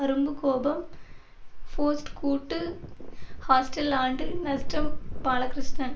அரும்பு கோபம் ஃபோஸ்ட் கூட்டு ஹாஸ்டல் ஆண்டு நஷ்டம் பாலகிருஷ்ணன்